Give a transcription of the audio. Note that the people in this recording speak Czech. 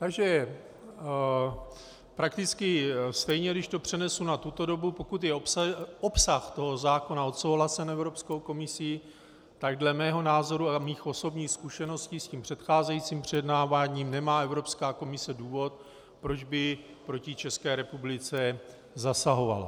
Takže prakticky stejně, když to přenesu na tuto dobu, pokud je obsah toho zákona odsouhlasen Evropskou komisí, tak dle mého názoru a mých osobních zkušeností s tím předcházejícím projednáváním nemá Evropská komise důvod, proč by proti České republice zasahovala.